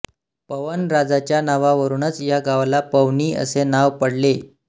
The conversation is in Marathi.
पवन राजाच्या नावावरूनच या गावाला पवनी असे नाव पडले